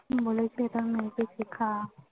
বলেছে এটার